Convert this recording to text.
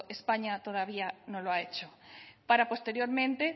españa todavía no lo ha hecho para posteriormente